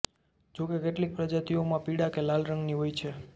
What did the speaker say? જોકે કેટલીક પ્રજાતિઓમાં પીળા કે લાલ રંગની હોય છે